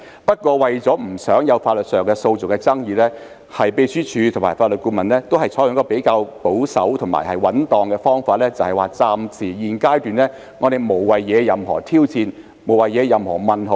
不過，為免在法律上有訴訟的爭議，秘書處和法律顧問均採取比較保守和穩當的方法，認為在現階段暫時無謂惹起任何挑戰或疑問。